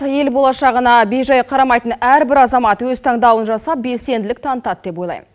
ел болашағына бей жай қарамайтын әрбір азамат өз таңдауын жасап белсенділік танытады деп ойлаймын